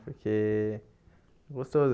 Porque é gostoso.